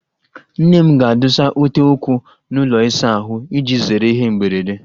Nne m ga-adụsa ute ụkwụ n'ụlọ ịsa ahụ, iji zere ihe mberede